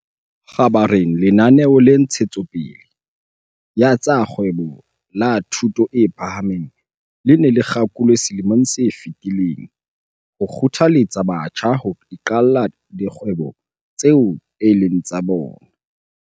Kgabareng lenaneo la Ntshe tsopele ya tsa Kgwebo la Thuto e Phahameng le ne le kgakolwe selemong se fetileng ho kgothaletsa batjha ho iqalla dikgwebo tseo e leng tsa bona.